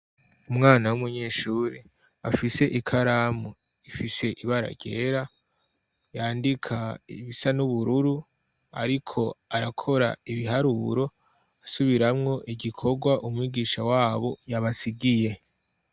Umwana w'umunyeshuri afise ikaramu ifise ibara ryera yandika ibisa n'ubururu ariko arakora ibiharuro asubiramwo igikorwa umwigisha wabo yabasigiye.